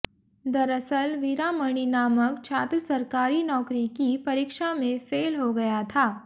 दरअसल वीरामणी नामक छात्र सरकारी नौकरी की परीक्षा में फेल हो गया था